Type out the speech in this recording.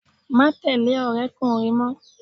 Má tẹ̀lẹ́ ọ̀rẹ́kùnrín mọ́!